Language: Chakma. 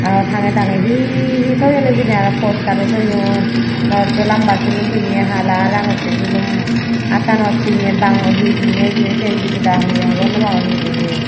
aro tangeye tangeye he he toyun hijeni aro postaro toyun morotto lamba sulum hala aro rangocche sulum attanot pinney bango he pinney hijeni siyen debeda he hogornopangor he pinney.